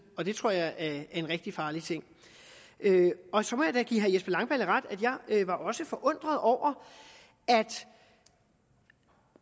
og det tror jeg er en rigtig farlig ting så må jeg da give herre jesper langballe ret jeg var også forundret over at